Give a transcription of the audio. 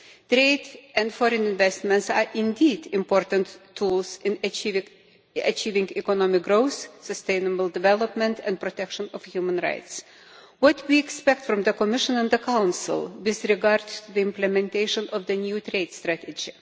Trade and foreign investments are indeed important tools in achieving economic growth, sustainable development and protection of human rights, which we expect from the Commission and the Council with regard to the implementation of the new trade strategy.